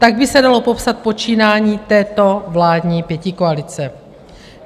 Tak by se dalo popsat počínání této vládní pětikoalice.